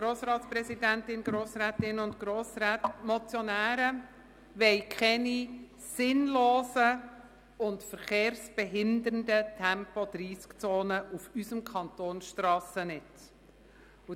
Die Motionäre wollen keine sinnlosen und verkehrsbehindernden Tempo-30-Zonen auf unserem Kantonsstrassennetz.